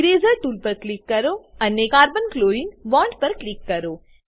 eraser tool પર click કરો અને carbon ક્લોરીન બોન્ડ પર ક્લિક કરો